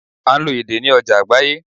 À n lo èdè ní ojà àgbáyé